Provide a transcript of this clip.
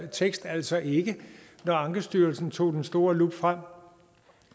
tekst altså ikke når ankestyrelsens tog den store lup frem